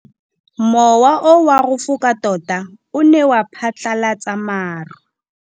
Mowa o wa go foka tota o ne wa phatlalatsa maru.